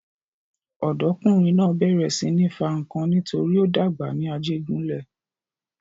Ọ̀dọ́kùnrin náà bẹ̀rẹ̀ sí ní fa nǹkan nítorí ó dàgbà ní Ajégúnlẹ̀.